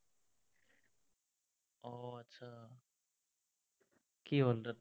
কি হ'ল তাত?